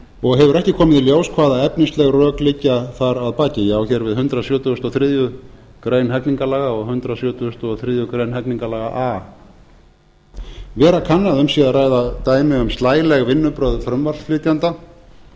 og hefur ekki komið í ljós hvaða efnisleg rök liggja þar að baki ég á hér við hundrað sjötugasta og þriðju grein hegningarlaga og hundrað sjötugasta og þriðju grein hegningarlaga a vera kann að um sé að ræða dæmi um slæleg vinnubrögð frumvarpsflytjanda